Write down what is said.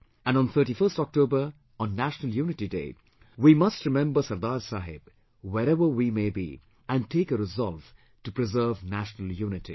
And on 31st October, on National Unity Day, we must remember Sardar Saheb wherever we may be and take a resolve to preserve national unity